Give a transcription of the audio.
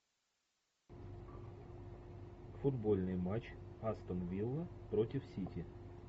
футбольный матч астон вилла против сити